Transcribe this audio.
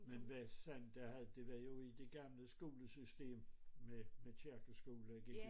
Men hvad sandt er at det var jo i det gamle skolesystem med med kirkeskolen